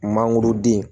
Mangoroden